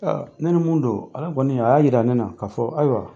Aa ne ni mun don, Ala kɔni, a y'a yira ne na, ka fɔ ayiwa